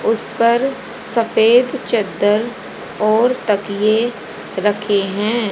उसपर सफेद चद्दर और तकिए रखे हैं।